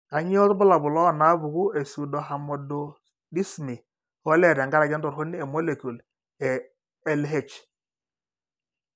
Kainyio irbulabul onaapuku epseudohermaphroditisme olee tenkaraki entoroni emolecule eLH?